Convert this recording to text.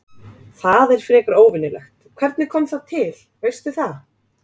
Það er frekar óvenjulegt, hvernig kom það til, veistu það?